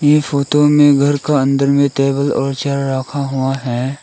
ये फोटो में घर का अंदर में टेबल और चेयर रखा हुआ है।